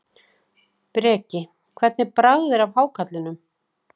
Breki: Hvernig bragð er af hákarlinum?